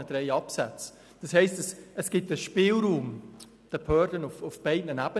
Das heisst: Es gibt einen Spielraum der Behörden auf beiden Ebenen.